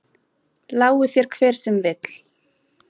Lái þér hver sem vill.